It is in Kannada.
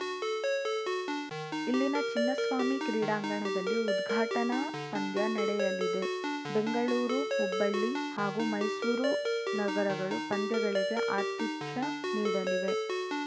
ಇಲ್ಲಿನ ಚಿನ್ನಸ್ವಾಮಿ ಕ್ರೀಡಾಂಗಣದಲ್ಲಿ ಉದ್ಘಟನಾ ಪಂದ್ಯ ನಡೆಯಲಿದೆ ಬೆಂಗಳೂರು ಹುಬ್ಬಳ್ಳಿ ಹಾಗೂ ಮೈಸೂರು ನಗರಗಳು ಪಂದ್ಯಗಳಿಗೆ ಆತಿಥ್ಯ ನೀಡಲಿವೆ